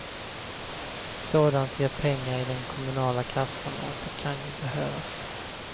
Sådant ger pengar i den kommunala kassan och det kan ju behövas.